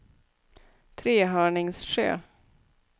Trehörningsjö